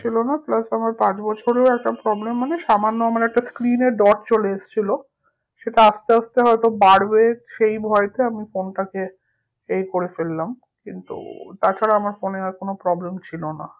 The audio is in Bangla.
ছিল না plus আমার পাঁচ বছরেও একটা problem মানে সামান্য আমার একটা screen এ dot চলে এসছিলো সেটা আস্তে আস্তে হয়তো বাড়বে, সেই ভয়েতে আমি phone টা কে এই করে ফেললাম কিন্তু তাছাড়া আমার phone এ আর কোনো problem ছিল না